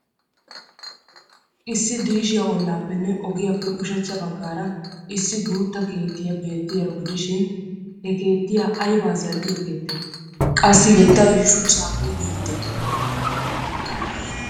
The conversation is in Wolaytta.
Issi diishiya ollaappenne ogiyaappe ushachcha baggaara issi guutta keettiya beetiyaaro gidishin ha keettiya aybaa zal'iyo keettee? Qassi keettay shuchchaappe giigidee?